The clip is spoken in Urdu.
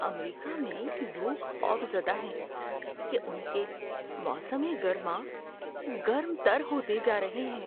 امریکہ میں لوگ خوفزدہ ہیں کہ ان کے موسم گرما گرم تر ہوتے جا رہے ہیں۔